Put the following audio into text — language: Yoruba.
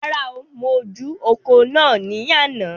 Rárá, mo ju ọ̀kọ̀ náà ní àna